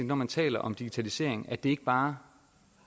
når man taler om digitalisering at det ikke bare